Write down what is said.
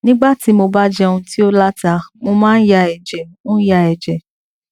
nígbà tí mo bá jẹun tí ó la ta mo máa ń ya ẹjẹ ń ya ẹjẹ